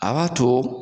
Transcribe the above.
A b'a to